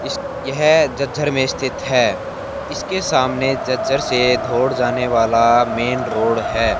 इस यह जज्झर में स्थित है इसके सामने जज्जर से धोड़ जाने वाला मेन रोड है।